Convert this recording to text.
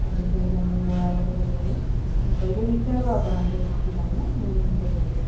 पहिले विचारू आपण आपल्या शिक्षिकांना मग नंतर बघू